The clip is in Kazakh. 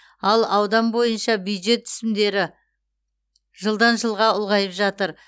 ал аудан бойынша бюджет түсімдері жылдан жылға ұлғайып жатыр